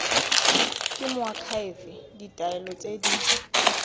ke moakhaefe ditaelo tse di